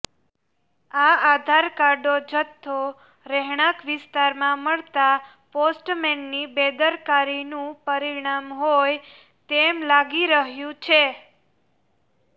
આ આધાર કાર્ડો જથ્થો રહેણાંક વિસ્તારમાં મળતા પોસ્ટમેનની બેદરકારીનું પરીણામ હોય તેમ લાગી રહ્યું છે